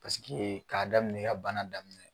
Paseke k'a daminɛ e ka bana daminɛ